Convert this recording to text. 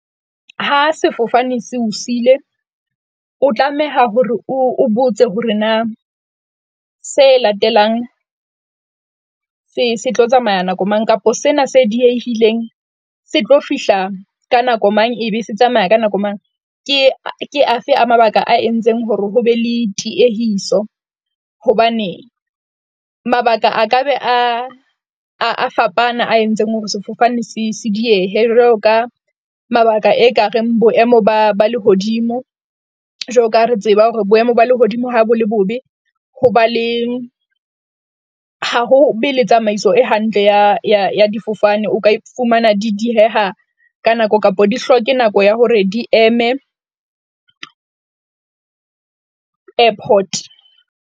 Ha sefofane se o siile, o tlameha hore o botse hore na se latelang se se tlo tsamaya nako mang kapa sena se diehileng se tlo fihla ka nako mang, ebe se tsamaya ka nako mang? Ke ke afe a mabaka a entseng hore ho be le tiehiso, hobane mabaka a ka be a a fapana a entseng hore sefofane se se diehe. Jwalo ka mabaka e ka reng boemo ba ba lehodimo, jwalo ka re tseba hore boemo ba lehodimo ha bo le bobe ho ba le ha ho be le tsamaiso e hantle ya ya difofane. O ka fumana di dieha ka nako kapa di hloke nako ya hore di eme airport.